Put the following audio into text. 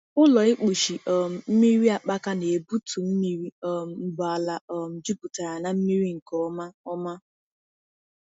Ụlọ ịkpụchi um mmiri akpaka na-egbutu mmiri um mgbe ala um jupụtara na mmiri nke ọma. ọma.